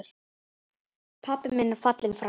Pabbi minn er fallinn frá.